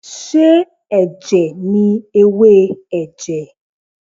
Ṣé ẹ̀jẹ̀ ni ewé ẹ̀jẹ̀?